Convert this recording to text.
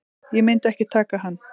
Ég myndi ekki taka hann.